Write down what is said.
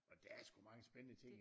Og der er sgu mange spændende ting